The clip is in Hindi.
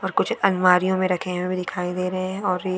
और कुछ अलमारियों मे रखे हुए दिखाई दे रहे है और ये--